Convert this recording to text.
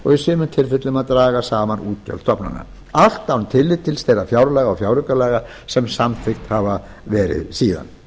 í sumum tilfellum að draga saman útgjöld stofnana allt án tillits til þeirra fjárlaga og fjáraukalaga sem samþykkt hafa verið síðan